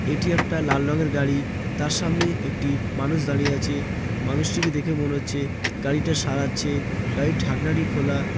এটি একটা লাল রঙের গাড়ি। তার সামনে একটি মানুষ দাঁড়িয়ে আছে মানুষটিকে দেখে মনে হচ্ছে গাড়িটা সারাচ্ছে গাড়ির ঢাকনাটি খোলা।